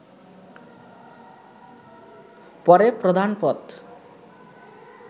পরে প্রধান পদ